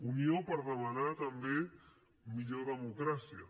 unió per demanar també millor democràcia